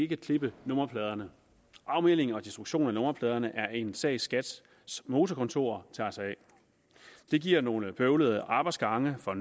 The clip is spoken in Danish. kan klippe nummerpladerne afmelding og destruktion af nummerpladerne er en sag som skats motorkontor tager sig af det giver nogle bøvlede arbejdsgange for